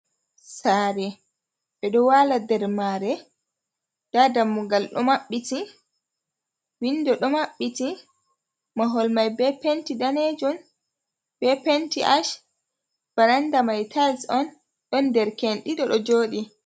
Saare, ɓe ɗo wala nder mare. Nda dammugal ɗo maɓɓiti, window ɗo maɓɓiti. Mahol mai be penti daneejum be penti ash. Baranda mai tiles on. Ɗon dereke en ɗiɗo ɗo joɗi.